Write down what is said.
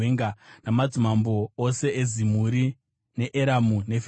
namadzimambo ose eZimuri, neEramu neFiristia,